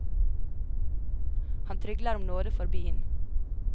Han trygler om nåde for byen.